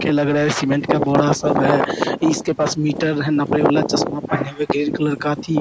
देख के लग रहा है सीमेंट का बोरा सब है इसके पास मीटर है नापे वाला चस्मा पहने हुए ग्रीन कलर का अथी --